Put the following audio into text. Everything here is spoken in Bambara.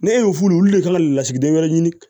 Ne y'o f'u ye olu le kan ka lasigiden wɛrɛ ɲini